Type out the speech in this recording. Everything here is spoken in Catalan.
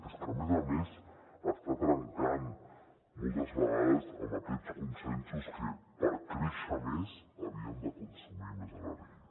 és que a més a més està trencant moltes vegades amb aquests consensos que per créixer més havíem de consumir més energia